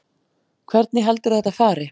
Hvernig heldurðu að þetta fari?